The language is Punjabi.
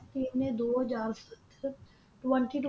ਦੋ ਹਾਜਰ ਸੱਤ ਅਹ ਟਵੈਂਟੀ ਟਵੈਂਟੀ